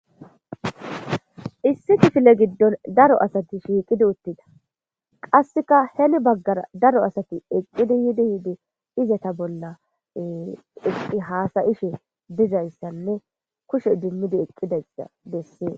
issi kifile giddon daro asati shiiqidi uttida qasseka heli baggara daro asati eqqidi yiidi yiidi izeta bolla eqqi haasayishe dizayssanne kushe dummidi eqqidasa dessie